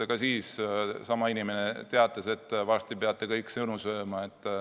Ka siis sama inimene teatas, et varsti peate kõik sõnu oma sööma.